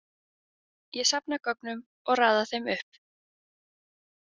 Ég safna gögnum og raða þeim upp.